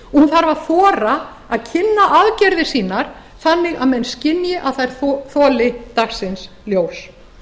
hún þarf að þora að kynna aðgerðir sínar þannig að menn skynji að þær þoli dagsins ljós